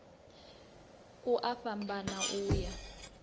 ku a fhambana u ya